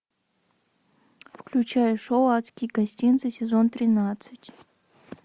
включай шоу адские гостинцы сезон тринадцать